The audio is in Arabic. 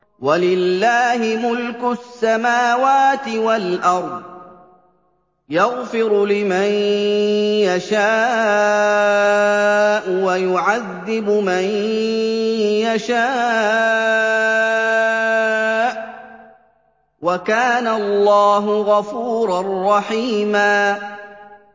وَلِلَّهِ مُلْكُ السَّمَاوَاتِ وَالْأَرْضِ ۚ يَغْفِرُ لِمَن يَشَاءُ وَيُعَذِّبُ مَن يَشَاءُ ۚ وَكَانَ اللَّهُ غَفُورًا رَّحِيمًا